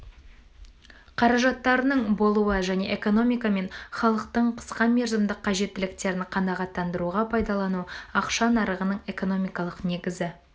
қаражаттарының болуы және экономика мен халықтың қысқа мерзімдік қажеттіліктерін қанағаттандыруға пайдалану ақша нарығының экономикалық негізі